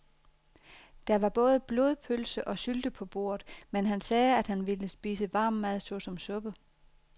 Der var både blodpølse og sylte på bordet, men han sagde, at han bare ville spise varm mad såsom suppe.